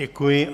Děkuji.